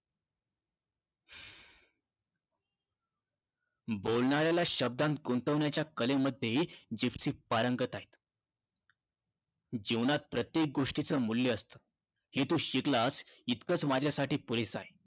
बोलणाऱ्याला शब्दांत गुंतवण्याच्या कलेमध्ये जिप्सी पारंगत आहे. जीवनात प्रत्येक गोष्टीचं मूल्य असतं. हे तू शिकलास इतकंच माझ्यासाठी पुरेसं आहे.